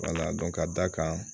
ka d'a kan